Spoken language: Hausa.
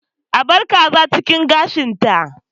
A bar kaza cikin gashinta